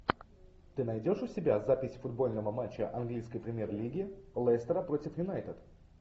ты найдешь у себя запись футбольного матча английской премьер лиги лестера против юнайтед